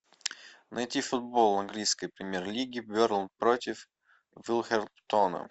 найти футбол английской премьер лиги бернли против вулверхэмптона